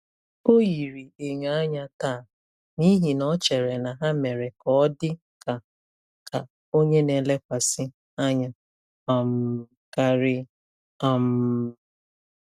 Ọ yiri enyo anya taa n'ihi na o chere na ha mere ka ọ dị ka ka onye na-elekwasị anya um karị. um